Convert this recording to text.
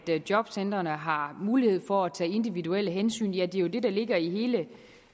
jobcentrene har mulighed for at tage individuelle hensyn ja det er jo det der ligger i